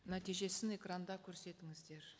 нәтижесін экранда көрсетіңіздер